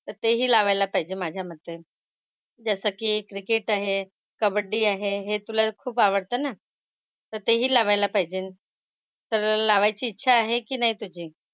तर तेही लावायला पाहिजे माझ्या मते. जसं की क्रिकेट आहे. कबड्डी आहे. हे तुला खूप आवडतं ना. तर तेही लावायला पाहिजे. तर लावायची इच्छा आहे की नाही तुझी?